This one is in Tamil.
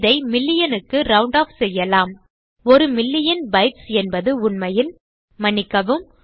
இதை மில்லியன் க்கு ரவுண்ட் ஆஃப் செய்யலாம் ஒரு மில்லியன் பைட்ஸ் என்பது உண்மையில் மன்னிக்கவும்